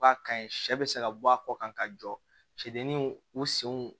U ka kaɲi sɛ bɛ se ka bɔ a kɔ kan ka jɔ sedu u senw